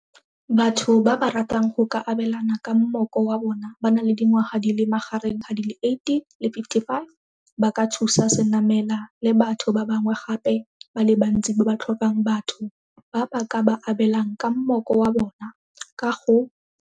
Batho ba ba ratang go ka abelana ka mmoko wa bona ba na le dingwaga di le magareng ga di le 18 le 55 ba ka thusa Senamela le batho ba bangwe gape ba le bantsi ba ba tlhokang batho ba ba ka ba abelang ka mmoko wa bona ka go.